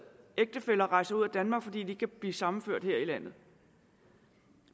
ægtefæller rejser ud af danmark fordi de ikke kan blive sammenført her i landet